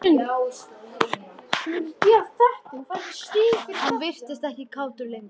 Hann virtist ekkert kátur lengur.